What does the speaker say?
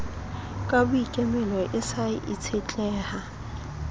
ka boikemelo e sa itshetleha